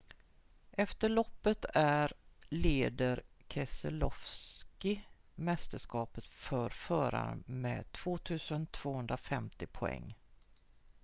efter loppet är leder keselowski mästerskapet för förare med 2 250 poäng